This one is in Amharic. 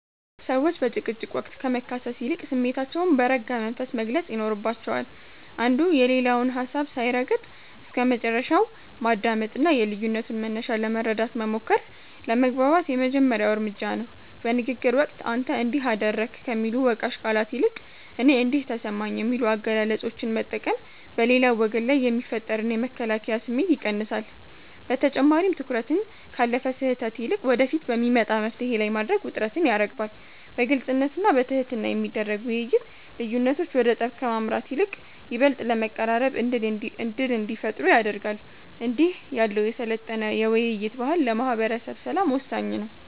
ሰዎች በጭቅጭቅ ወቅት ከመካሰስ ይልቅ ስሜታቸውን በረጋ መንፈስ መግለጽ ይኖርባቸዋል። አንዱ የሌላውን ሀሳብ ሳይረግጥ እስከመጨረሻው ማዳመጥና የልዩነቱን መነሻ ለመረዳት መሞከር ለመግባባት የመጀመሪያው እርምጃ ነው። በንግግር ወቅት "አንተ እንዲህ አደረግክ" ከሚሉ ወቃሽ ቃላት ይልቅ "እኔ እንዲህ ተሰማኝ" የሚሉ አገላለጾችን መጠቀም በሌላው ወገን ላይ የሚፈጠርን የመከላከያ ስሜት ይቀንሳል። በተጨማሪም፣ ትኩረትን ካለፈ ስህተት ይልቅ ወደፊት በሚመጣ መፍትሔ ላይ ማድረግ ውጥረትን ያረግባል። በግልጽነትና በትህትና የሚደረግ ውይይት፣ ልዩነቶች ወደ ጠብ ከማምራት ይልቅ ይበልጥ ለመቀራረብ ዕድል እንዲፈጥሩ ያደርጋል። እንዲህ ያለው የሰለጠነ የውይይት ባህል ለማህበረሰብ ሰላም ወሳኝ ነው።